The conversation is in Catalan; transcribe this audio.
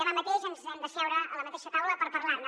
demà mateix ens hem d’asseure a la mateixa taula per parlar ne